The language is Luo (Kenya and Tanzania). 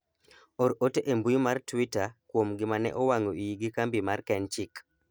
or ote e mbui mar twita kuom gima ne owang'o iyi gi kambi kenchik